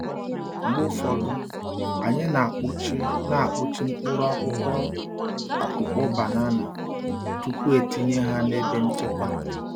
Mgbe ụfọdụ, anyị na-akpuchi na-akpuchi mkpụrụ n’akwụkwọ akpụkpọ banana tupu etinye ha n’ebe nchekwa.